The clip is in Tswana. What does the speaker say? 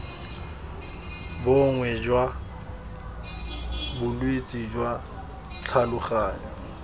bongwe jwa bolwetse jwa tlhaloganyo